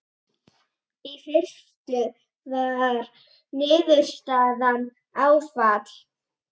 Í fyrstu var niðurstaðan áfall.